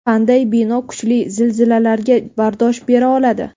Qanday bino kuchli zilzilalarga bardosh bera oladi?